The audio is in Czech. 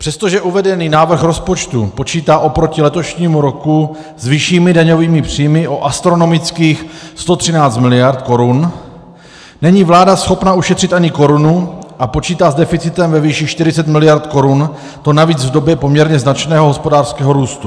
Přestože uvedený návrh rozpočtu počítá oproti letošnímu roku s vyššími daňovými příjmy o astronomických 113 miliard korun, není vláda schopna ušetřit ani korunu a počítá s deficitem ve výši 40 miliard korun, to navíc v době poměrně značného hospodářského růstu.